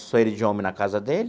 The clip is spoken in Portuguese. Só ele de homem na casa dele.